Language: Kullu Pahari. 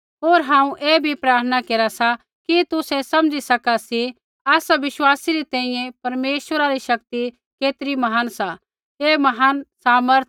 होर हांऊँ ऐ भी प्रार्थना केरा सा कि तुसै समझी सका सी आसा विश्वासी री तैंईंयैं परमेश्वरा री शक्ति केतरी महान सा ऐ महान सामर्थ